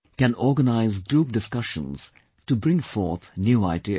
can organise group discussions, to bring forth new ideas